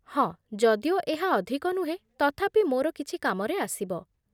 ହଁ, ଯଦିଓ ଏହା ଅଧିକ ନୁହେଁ, ତଥାପି ମୋର କିଛି କାମରେ ଆସିବ